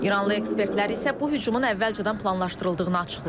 İranlı ekspertlər isə bu hücumun əvvəlcədən planlaşdırıldığını açıqlayıb.